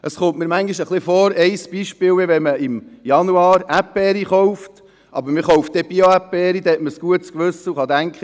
Ein Beispiel ist, wenn man im Januar Erdbeeren kauft, sich aber für Bio-Erdbeeren entscheidet, um ein gutes Gewissen zu haben und zu denken: